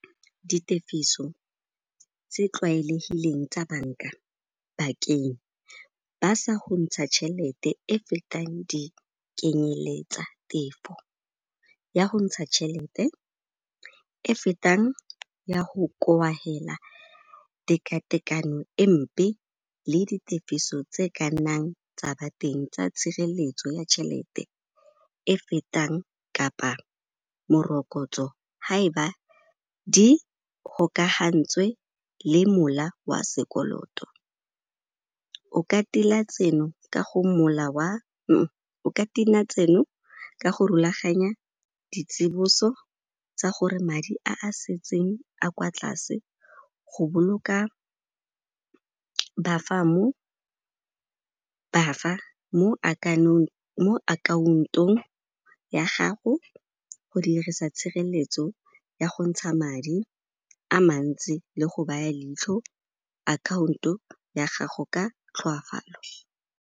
Ditefiso tse tlwaelegileng tsa banka bakeng ba sa go ntsha tšhelete e fetang di kenyeletsa-tefo ya go ntsha tšhelete e fetang ya go koafela teka-tekanyo e mpe le di tefiso tse ka nnang tsa ba teng, tsa tshireletso ya tšhelete e fetang kapa morokotso ha eba di gokagantswe le mola wa sekoloto. O ka tilwa tseno ka go rulaganya ditsiboso tsa gore madi a a setseng a kwa tlase go boloka ba fa mo akhaontong ya gago go dirisa tshireletso ya go ntsha madi a mantsi le go baya leitlho akhaonto ya gago ka tlhoafalo.